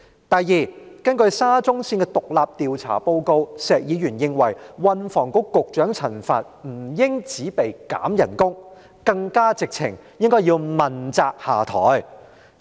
第二，根據沙中綫工程獨立調查報告，石議員認為運輸及房屋局局長陳帆不應只被削減薪酬，更簡直要問責下台。